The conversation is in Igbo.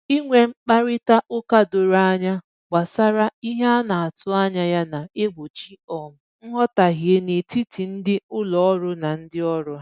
Inwe mkparịta ụka doro anya gbasara ihe a na-atụ anya ya na-egbochi um nghọtahie n'etiti ndị ụlọ ọrụ na ndị ọrụ ha